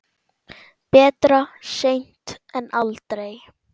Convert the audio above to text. Betra seint en aldrei.